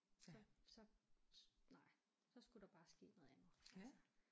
Så så nej så skulle der bare ske noget andet altså